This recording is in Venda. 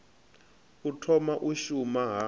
u thoma u shuma ha